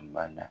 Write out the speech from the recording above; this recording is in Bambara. Banna